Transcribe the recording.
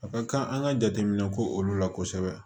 A ka kan an ka jateminɛ ko olu la kosɛbɛ